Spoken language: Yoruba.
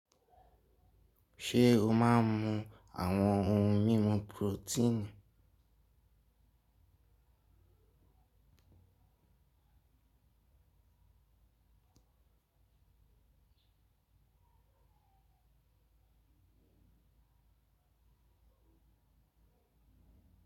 Ṣé o máa ń mu àwọn ohun mímu protein?